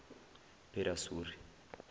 pedasuri